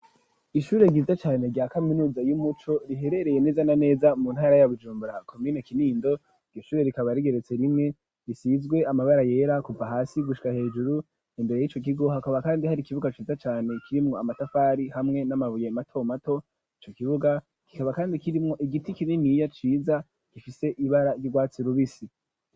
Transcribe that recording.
Ishure ryiza cane rya kaminuza y'umuco riherereye neza na neza mu ntara ya Bujumbura komine Kinindo iryo shure rikaba rigeretse rimwe risizwe amabara yera kuva hasi gushika hejuru imbere yico kigo hakaba kandi hari ikibuga ciza cane kirimwo amatafari hamwe n'amabuye mato mato ico kibuga kikaba kandi kirimwo igiti kininiya ciza gifise ibara ry'urwatsi rubisi